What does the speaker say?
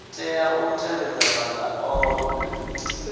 tea u tevhedza maga ohe